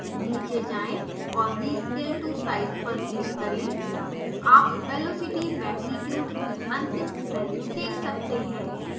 नीचे जाएँ और rescale to size पर क्लिक करें आप velocity magnitude की अंतिम वैल्यू देख सकते हैं